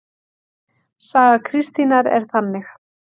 Saga Kristínar er þannig